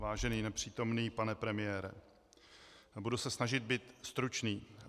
Vážený nepřítomný pane premiére, Budu se snažit být stručný.